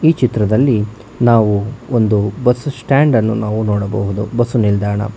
ಈ ಚಿತ್ರದಲ್ಲಿ ನಾವು ಒಂದು ಬಸ್ ಸ್ಟ್ಯಾಂಡ್ ಅನ್ನು ನಾವು ನೋಡಬಹುದು ಬಸು ನಿಲ್ದಾಣ--